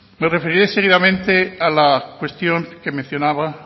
me referiré seguidamente a la cuestión que mencionaba